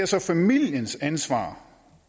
så familiens ansvar